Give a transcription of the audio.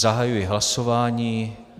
Zahajuji hlasování.